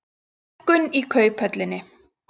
Hækkun í Kauphöllinni